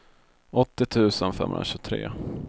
åttio tusen femhundratjugotre